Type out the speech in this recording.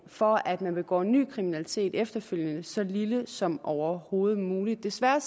for at man begår ny kriminalitet efterfølgende er så lille som overhovedet muligt desværre